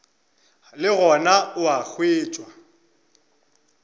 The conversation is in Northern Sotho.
le gona o a hwetšwa